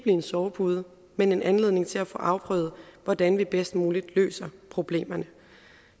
en sovepude men en anledning til at få afprøvet hvordan vi bedst muligt løser problemerne